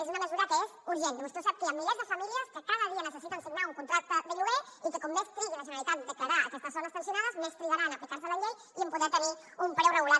és una mesura que és urgent i vostè ho sap que hi ha milers de famílies que cada dia necessiten signar un contracte de lloguer i que com més trigui la generalitat a declarar aquestes zones tensionades més trigarà a aplicar se la llei i a poder tenir un preu regulat